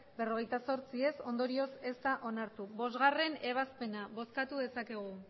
berrogeita zortzi ondorioz ez da onartu bostgarrena ebazpena bozkatu dezakegu